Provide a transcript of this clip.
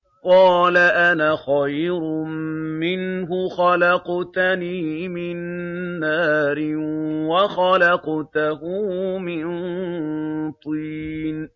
قَالَ أَنَا خَيْرٌ مِّنْهُ ۖ خَلَقْتَنِي مِن نَّارٍ وَخَلَقْتَهُ مِن طِينٍ